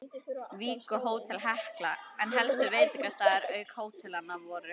Vík og Hótel Hekla, en helstu veitingastaðir auk hótelanna voru